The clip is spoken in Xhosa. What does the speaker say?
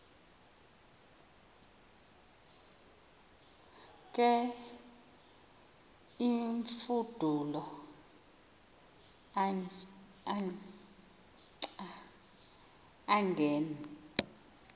ke imfudulo angen